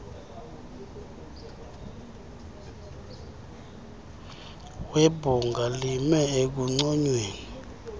webhunga lime ekunconyweni